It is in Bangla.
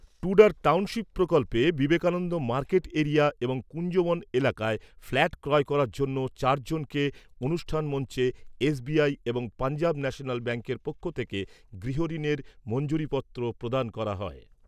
টুডার টাউনশিপ প্রকল্পে বিবেকানন্দ মার্কেট এরিয়া এবং কুঞ্জবন এলাকায় ফ্ল্যাট ক্রয় করার জন্য চার জনকে অনুষ্ঠান মঞ্চে এস বি আই এবং পাঞ্জাব ন্যাশনাল ব্যাঙ্কের পক্ষ থেকে গৃহ ঋণের মঞ্জুরিপত্র প্রদান করা হয়।